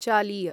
चालीय